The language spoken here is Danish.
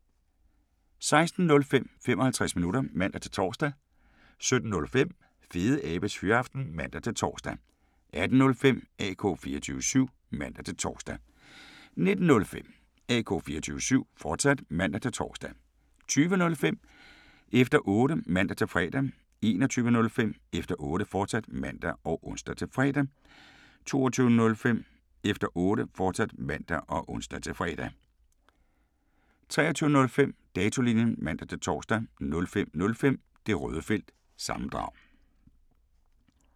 16:05: 55 minutter (man-tor) 17:05: Fedeabes Fyraften (man-tor) 18:05: AK 24syv (man-tor) 19:05: AK 24syv, fortsat (man-tor) 20:05: Efter Otte (man-fre) 21:05: Efter Otte, fortsat (man og ons-fre) 22:05: Efter Otte, fortsat (man og ons-fre) 23:05: Datolinjen (man-tor) 05:05: Det Røde Felt – sammendrag